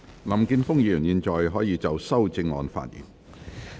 林健鋒議員，你現在可以就修正案發言。